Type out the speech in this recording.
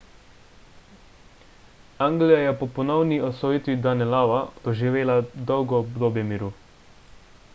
anglija je po ponovni osvojitvi danelawa doživela dolgo obdobje miru